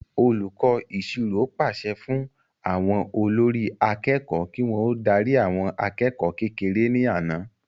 Olùkọ́ ìṣirò pàṣẹ fún àwọn olórí akẹ́kọ̀ọ́ kí wọ́n ó darí àwọn akẹ́kọ̀ọ́ kékeré ní àná